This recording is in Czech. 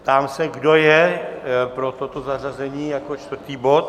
Ptám se, kdo je pro toto zařazení jako čtvrtý bod?